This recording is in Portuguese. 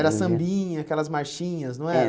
Era Sambinha, aquelas marchinhas, não era? Era